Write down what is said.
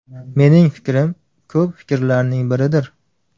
Mening fikrim ko‘p fikrlarning biridir.